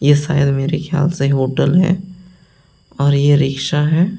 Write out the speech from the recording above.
ये शायद मेरे ख्याल से होटल है और ये रिक्शा है।